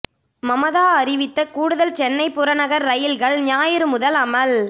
மமதா அறிவித்த கூடுதல் சென்னை புறநகர் ரயில்கள் ஞாயிறு முதல் அமல்